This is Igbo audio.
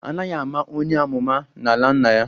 Anaghi ama onye amụma n'ala nna ya